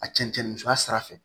A cɛncɛn sira fɛ